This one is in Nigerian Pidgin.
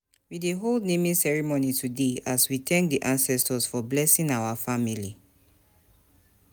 We dey hold naming ceremony today, as we thank di ancestors for blessing our family.